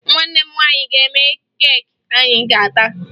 Nwanne m nwaanyị ga-eme keeki anyị ga-ata